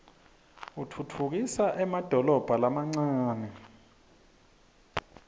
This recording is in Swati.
utfutfukisa emadolobha lamancane